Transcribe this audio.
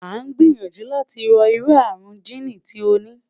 a n gbiyanju lati ro iru arun jiini ti o ni